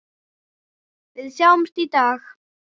Við sjáumst í dag.